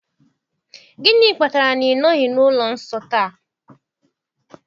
Gịnị kpatara na ị nọghị na ụlọ nsọ taa?